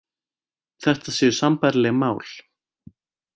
Þetta séu sambærileg mál